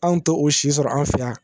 Anw t'o si sɔrɔ an fɛ yan